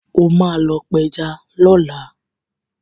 O máa lọ pẹja lọ́la.